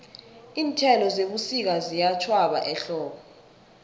iinthelo zebusika ziyatjhwaba ehlobo